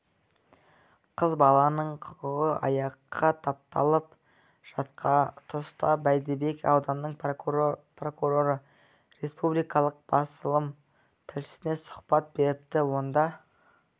қыз баланың құқығы аяққа тапталып жатқа тұста бәйдібек ауданының прокуроры республикалық басылым тілшісіне сұхбат беріпті онда